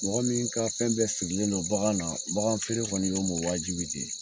Mɔgɔ min ka fɛn bɛɛ sigilen don bagan na baganfeere kɔni y'o ma wajibi de ye